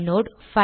inode